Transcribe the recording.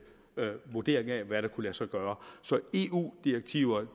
vurdering af hvad der kunne lade sig gøre så eu direktiver